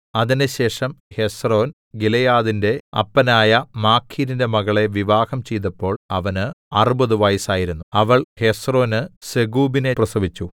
അതിന്‍റെശേഷം ഹെസ്രോൻ ഗിലെയാദിന്റെ അപ്പനായ മാഖീരിന്റെ മകളെ വിവാഹം ചെയ്തപ്പോൾ അവന് അറുപത് വയസ്സായിരുന്നു അവൾ ഹെസ്രോന് സെഗൂബിനെ പ്രസവിച്ചു